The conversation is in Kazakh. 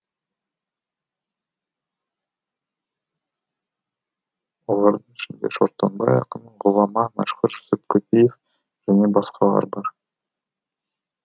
олардың ішінде шортанбай ақын ғұлама мәшһүр жүсіп көпеев және басқалар бар